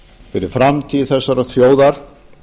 fyrir framtíð þessarar þjóðar